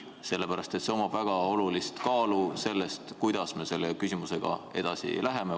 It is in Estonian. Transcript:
Sellel on väga oluline kaal selles, kuidas me selle küsimusega edasi läheme.